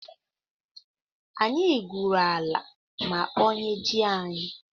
Anyị gwuru ala ma kpọnye ji anyị.